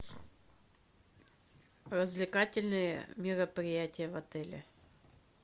развлекательные мероприятия в отеле